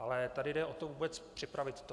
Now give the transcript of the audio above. Ale tady jde o to vůbec připravit to.